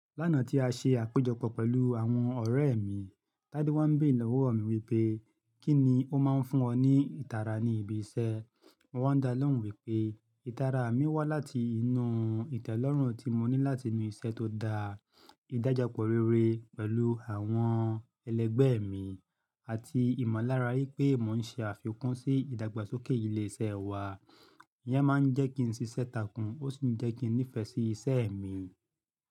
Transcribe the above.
Lánàá tí a ṣe àpéjọpọ̀ pẹ̀lú àwọn ọ̀rẹ́ mi, Tádé wọ́n béèrè lọ́wọ́ mi wípé, "Kí ni ó máa ń fún ọ ní ìtara ní ibi iṣẹ́?" Mo wá n dá lóhùn wípé ìtara mi wá láti inú ìtẹ́lọ́rùn tí mo ní láti inú iṣẹ́ tó dá, ìdájọpọ̀ rere pẹ̀lú àwọn ẹlẹgbẹ́ mi, àti ìmọ̀lára wípé mò ń ṣe àfikún sí ìdàgbàsókè ilé iṣẹ́ wa. Iyán máa ń jẹ́ kí n ṣiṣẹ́ takún ó sì ń jẹ́ kí n nífẹ̀ẹ́ sí ìṣe mi.